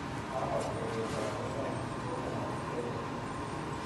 Akosegey kororonindo ne kikono Kamuktaindet